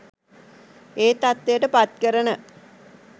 ඒ තත්වයට පත් කරන